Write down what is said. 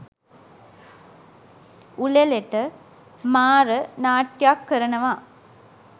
උළෙලට 'මාර' නාට්‍යයක් කරනවා.